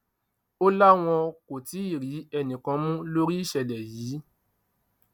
ó láwọn kò tí ì rí ẹnìkan mú lórí ìṣẹlẹ yìí